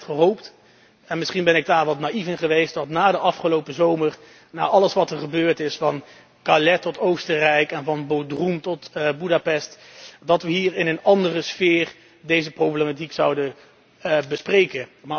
Ik had echt gehoopt en misschien ben ik daarin wat naïef geweest dat na de afgelopen zomer, na alles wat er gebeurd is van Calais tot Oostenrijk en van Bodrum tot Boedapest, wij hier in een andere sfeer deze problematiek zouden bespreken.